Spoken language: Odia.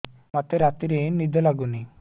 ମୋତେ ରାତିରେ ନିଦ ଲାଗୁନି